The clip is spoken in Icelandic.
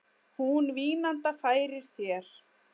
Hún vínanda færir þér.